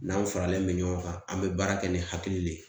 N'anw faralen bɛ ɲɔgɔn kan an bɛ baara kɛ ni hakili le ye